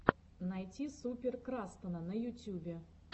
найти супер крастана на ютюбе